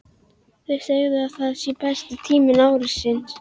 Þau segja að það sé besti tími ársins.